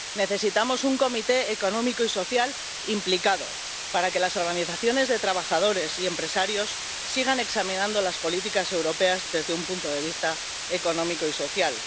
Necesitamos un Comité Económico y Social implicado, para que las organizaciones de trabajadores y empresarios sigan examinando las políticas europeas desde un punto de vista económico y social.